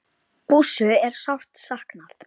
Bússu er sárt saknað.